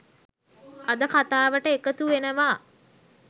අද කථාවට එකතු වෙනවා.